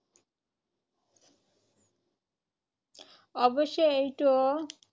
অৱশ্যে এইটো